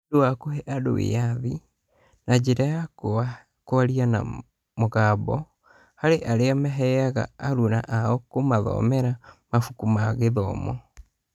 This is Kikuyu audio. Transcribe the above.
Nĩ ũndũ wa kũhe andũ wĩyathi (na njĩra ya kwaria na mũgambo) harĩ arĩa mehokaga aruna ao kũmathomara mabuku ma gĩthomo.